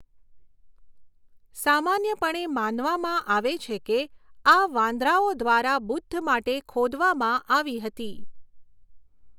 સામાન્યપણે માનવામાં આવે છે કે આ વાંદરાઓ દ્વારા બુદ્ધ માટે ખોદવામાં આવી હતી.